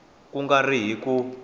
ku nga ri hi ku